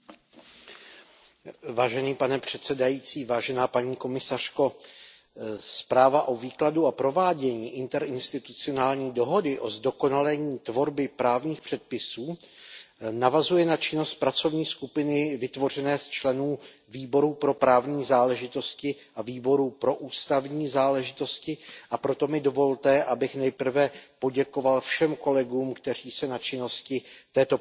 Pane předsedající, zpráva o výkladu a provádění interinstitucionální dohody o zdokonalení tvorby právních předpisů navazuje na činnost pracovní skupiny vytvořené z členů Výboru pro právní záležitosti a Výboru pro ústavní záležitosti, a proto mi dovolte, abych nejprve poděkoval všem kolegům, kteří se na činnosti této pracovní skupiny podíleli.